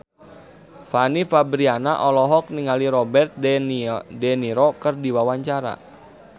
Fanny Fabriana olohok ningali Robert de Niro keur diwawancara